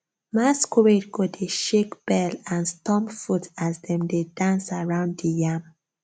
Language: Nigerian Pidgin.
masquerade go dey shake bell and stomp foot as dem dey dance around the yam